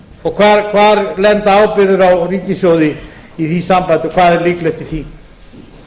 nýju bankanna og hvar lenda ábyrgðir á ríkissjóði í því sambandi og hvað er líklegt í